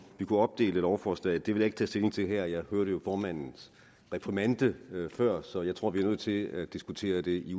vi kunne opdele lovforslaget det vil jeg ikke tage stilling til her jeg hørte jo formandens reprimande før så jeg tror vi er nødt til at diskutere i